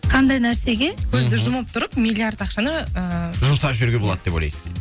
қандай нәрсеге көзді жұмып тұрып миллиард ақшаны ыыы жұмсап жіберуге болады деп ойлайсыз дейді